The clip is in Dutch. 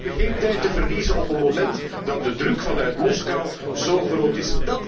We hebben geen tijd te verliezen op een moment dat de druk vanuit Moskou zo groot is.